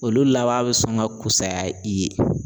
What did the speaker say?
Olu laban bɛ sɔn ka kusaya i ye.